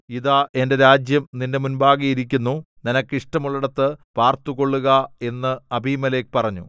ഇതാ എന്റെ രാജ്യം നിന്റെ മുമ്പാകെ ഇരിക്കുന്നു നിനക്ക് ഇഷ്ടമുള്ളടത്ത് പാർത്തുകൊള്ളുക എന്ന് അബീമേലെക്ക് പറഞ്ഞു